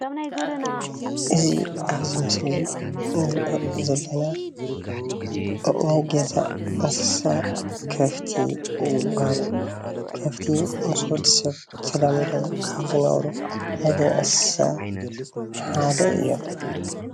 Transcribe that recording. እዚ ኣብዚ ምስሊ እዚ እንሪኦ ዘለና ኣእዋም ገዛ አንስሳ ከፍቲ ይባሃሉ፣ ከፍቲ ምስ ወዲሰብ ተላሚዶም ካብ ዝነብሩ እንስሳ ሓደ እዮም፡፡